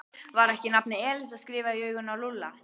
Var ekki nafnið Elísa skrifað í augun á Lúlla?